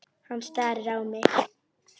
Hann starir á mig.